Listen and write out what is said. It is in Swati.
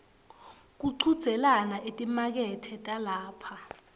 kuchudzelana etimakethe talapha